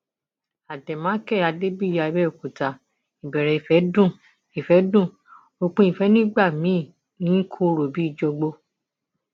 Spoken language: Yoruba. àdèmàkè adébíyí àbẹòkúta ìbẹrẹ ìfẹ dùn ìfẹ dùn òpin ìfẹ nígbà míín ní i kọrọ bíi jọgbọ